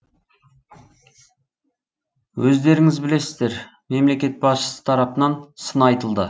өздеріңіз білесіздер мемлекет басшысы тарапынан сын айтылды